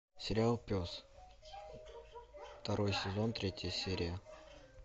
сериал пес второй сезон третья серия